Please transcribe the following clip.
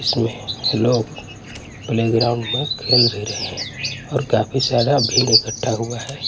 इसमें hello playground में खेल भी रहे है काफी सारा भीड़ इकट्ठा हुआ है।